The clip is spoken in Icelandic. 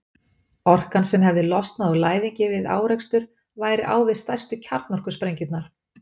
Orkan sem hefði losnað úr læðingi við árekstur væri á við stærstu kjarnorkusprengjurnar.